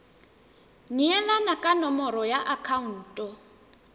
neelana ka nomoro ya akhaonto